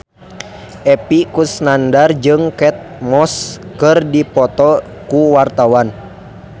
Epy Kusnandar jeung Kate Moss keur dipoto ku wartawan